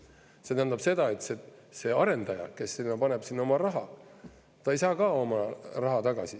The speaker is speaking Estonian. See tähendab seda, et see arendaja, kes paneb sinna oma raha, ei saa ka oma raha tagasi.